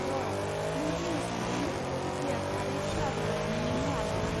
र'! नों बुंनो सानदों कफिआ थारै खोला भारतनि मुवा नङा?